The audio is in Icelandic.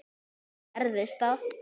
Svo gerðist það.